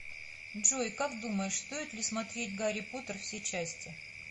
джой как думаешь стоит ли смотреть гарри поттер все части